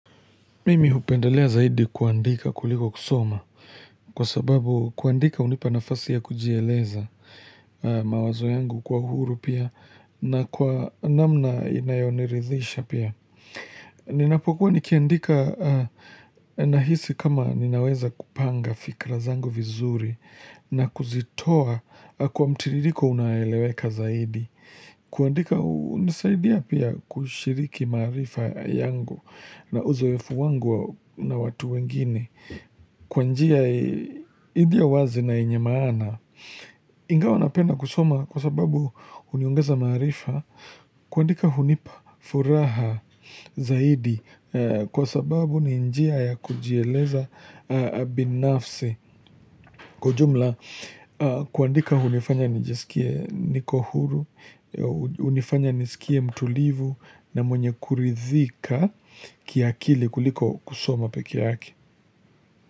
Mimi hupendelea zaidi kuandika kuliko kusoma kwa sababu kuandika unipa nafasi ya kujieleza mawazo yangu kwa huru pia na kwa namna inayoniridhisha pia. Ninapokuwa nikiandika nahisi kama ninaweza kupanga fikra zangu vizuri na kuzitoa kwa mtiririko unaoeleweka zaidi. Kuandika unisaidia pia kushiriki maarifa yangu na uzoefu wangu na watu wengine Kwa njia ilio wazi na yenye maana Ingawa napenda kusoma kwa sababu huniongeza maarifa kuandika hunipa furaha zaidi Kwa sababu ni njia ya kujieleza binafsi Kwa ujumla, kuandika hunifanya nijisikie niko huru, hunifanya nisikie mtulivu na mwenye kuridhika kiakili kuliko kusoma peke yake.